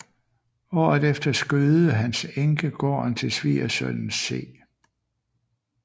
Året efter skødede hans enke gården til svigersønnen C